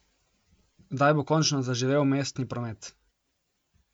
Kdaj bo končno zaživel mestni promet?